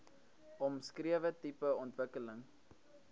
omskrewe tipe ontwikkeling